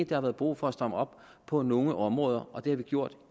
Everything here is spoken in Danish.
der har været brug for at stramme op på nogle områder og det har vi gjort